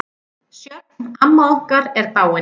Sjöfn, amma okkar, er dáin.